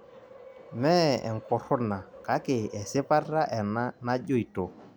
Mee enkurruna kake esipata ena najoito